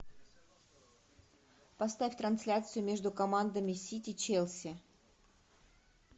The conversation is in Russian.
поставь трансляцию между командами сити челси